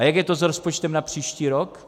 A jak je to s rozpočtem na příští rok?